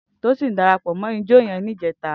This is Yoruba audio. Tosin dàrápò mò ijò yèn nijètá